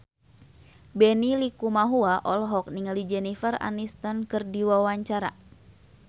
Benny Likumahua olohok ningali Jennifer Aniston keur diwawancara